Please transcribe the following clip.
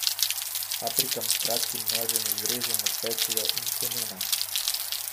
Paprikam s kratkim nožem izrežemo peclje in semena.